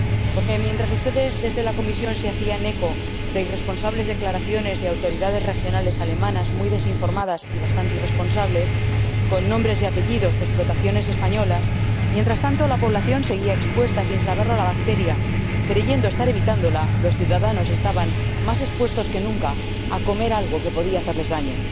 porque mientras ustedes, desde la Comisión, se hacían eco de irresponsables declaraciones de autoridades regionales alemanas —muy desinformadas y bastantes irresponsables—, con nombres y apellidos de explotaciones españolas, la población seguía expuesta, sin saberlo, a la bacteria creyendo estar evitándola, los ciudadanos estaban más expuestos que nunca a comer algo que podía hacerles daño.